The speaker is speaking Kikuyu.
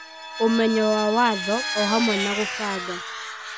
ũmenyo wa watho wa o-hamwe na gũbanga